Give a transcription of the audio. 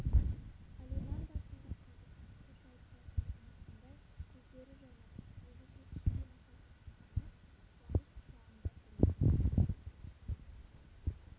алиман да сонда қазір қош айтысатынын ұмытқандай көздері жайнап өзінше іштей масат танып қуаныш құшағында тұр екен